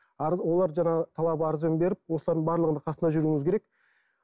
арыз олар жаңағы талап арыздарын беріп осылардың барлығында қасында жүруіңіз керек